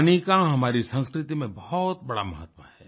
पानी का हमारी संस्कृति में बहुत बड़ा महत्व है